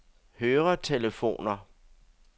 høretelefoner